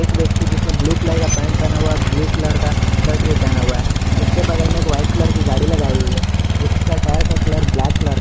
एक व्यक्ति जिसने ब्लू कलर का पेंट पहना हुआ है ब्लू कलर का शर्ट भी पहना हुआ है जिसका टायर का कलर ब्लैक कलर का है।